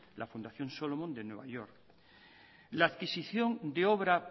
la fundación solomon de nueva